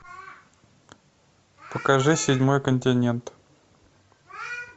покажи седьмой континент